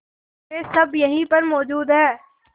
वे सब यहीं पर मौजूद है